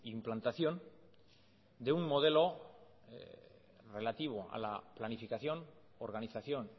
implantación de un modelo relativo a la planificación organización